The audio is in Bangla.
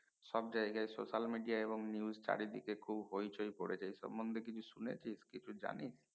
সব জায়গায় social media এবং news চারি দিকে খুব হৈচৈ পরেছে এই সম্বন্ধে কিছু শুনেছিস কিছু জানি?